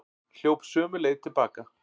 Hljóp sömu leið til baka.